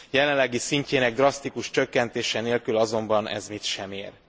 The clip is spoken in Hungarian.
jelenlegi szintjének drasztikus csökkentése nélkül azonban ez mit sem ér.